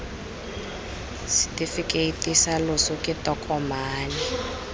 setefikeiti sa loso ke tokomane